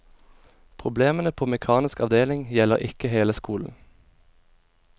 Problemene på mekanisk avdeling gjelder ikke hele skolen.